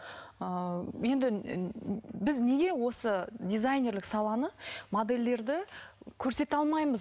ыыы енді ыыы біз неге осы дизайнерлік саланы модельдерді көрсете алмаймыз